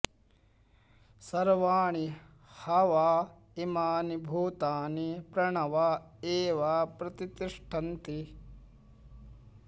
सर्वाणि ह वा इमानि भूतानि प्रणव एव प्रतितिष्ठन्ति